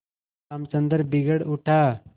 रामचंद्र बिगड़ उठा